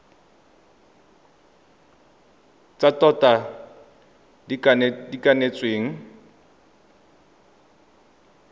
tsa tota tse di kanetsweng